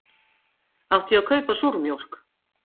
Átti ég að kaupa súrmjólk?